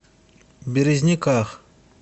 березниках